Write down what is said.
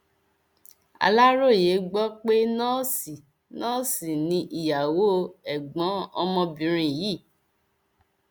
aláròye gbọ pé nọọsì nọọsì ni ìyàwó ẹgbọn ọmọbìnrin yìí